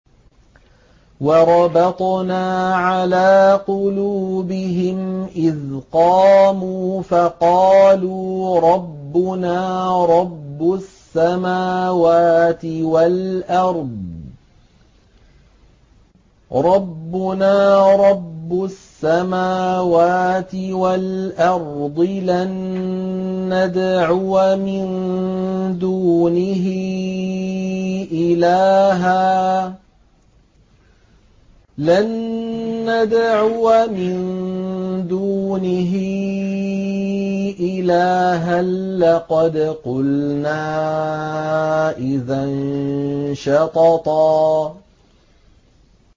وَرَبَطْنَا عَلَىٰ قُلُوبِهِمْ إِذْ قَامُوا فَقَالُوا رَبُّنَا رَبُّ السَّمَاوَاتِ وَالْأَرْضِ لَن نَّدْعُوَ مِن دُونِهِ إِلَٰهًا ۖ لَّقَدْ قُلْنَا إِذًا شَطَطًا